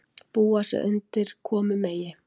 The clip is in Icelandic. Búa sig undir komu Megi